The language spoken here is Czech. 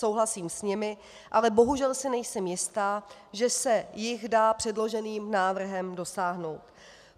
Souhlasím s nimi, ale bohužel si nejsem jistá, že se jich dá předloženým návrhem dosáhnout.